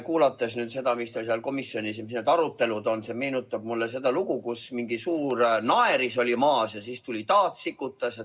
Kuulates seda, mis arutelud teil seal komisjonis on, meenus mulle see lugu, kus mingi suur naeris oli maas ja siis tuli taat ja sikutas.